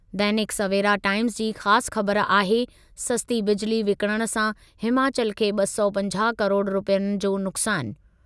दैनिक Savera Times जी ख़ासि ख़बरु आहे, सस्ती बिजिली विकिणण सां हिमाचल खे ॿ सौ पंजाहु किरोड़ रुपयनि जो नुकसानु।